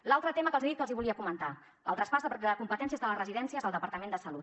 l’altre tema que els he dit que els volia comentar el traspàs de competències de les residències al departament de salut